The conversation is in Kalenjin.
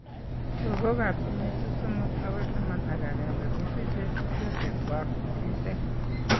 Logok ab kenyisiek somok akoi taman ak agenge kosiche tubchosiek kwak kimiteek